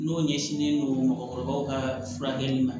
N'o ɲɛsinnen don mɔgɔkɔrɔbaw ka furakɛli ma